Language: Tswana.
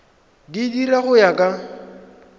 di dira go ya ka